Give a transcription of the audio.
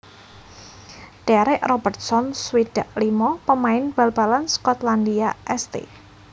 Derek Robertson swidak limo pamain bal balan Skotlandia St